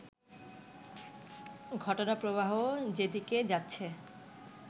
ঘটনাপ্রবাহ যেদিকে যাচ্ছে